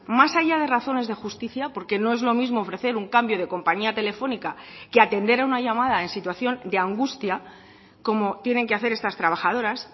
más allá de razones de justicia porque no es lo mismo ofrecer un cambio de compañía telefónica que atender a una llamada en situación de angustia como tienen que hacer estas trabajadoras